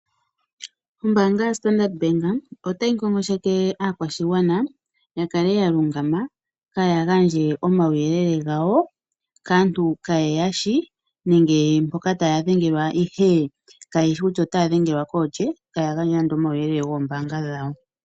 Ombaanga yo Standard Bank otayi ngongosheke aakwashigwana ya kale ya lungama, kaaya gandje omauyelele gawo kaantu kaaye ya shi, nenge mboka taya dhengelwa taya dhengelwa ihe kayeshi kutya otaya dhengelwa koolye taya gandja ando omauyelele goombaanga dhawo.